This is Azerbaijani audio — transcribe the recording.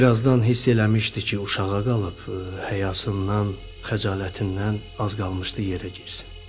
Birazdan hiss eləmişdi ki, uşağa qalıb, həyasından, xəcalətindən az qalmışdı yerə girsin.